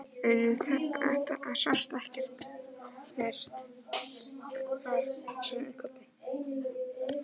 En það sást ekkert far, sagði Kobbi.